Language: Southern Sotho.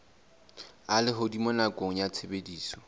a lehodimo nakong ya tshebediso